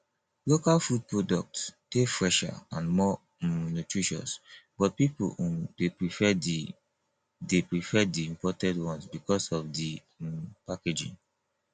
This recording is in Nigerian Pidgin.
local food products dey fresher and more um nutritious but people um dey prefer di dey prefer di imported ones because of di um packaging